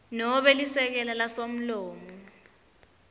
nobe lisekela lasomlomo